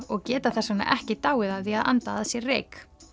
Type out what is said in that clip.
og geta þess vegna ekki dáið af því að anda að sér reyk